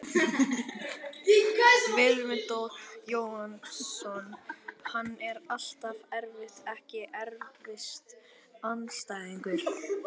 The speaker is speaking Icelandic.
Vilmundur Jónasson, hann er alltaf erfiður Ekki erfiðasti andstæðingur?